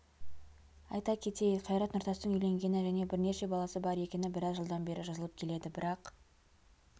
айта кетейік қайрат нұртастың үйленгені және бірнеше баласы бар екені біраз жылдан бері жазылып келеді бірақ